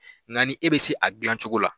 Nka ni e bɛ se a dilancogo la